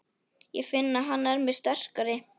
Ég finn að hann er mér sterkari.